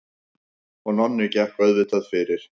Og Nonni gekk auðvitað fyrir.